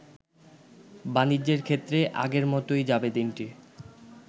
বাণিজ্যের ক্ষেত্রে আগের মতই যাবে দিনটি।